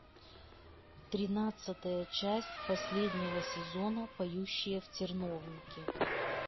тринадцатая часть последнего сезона поющие в терновнике